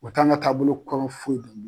O t'an ga taabolo kɔrɔ foyi de ni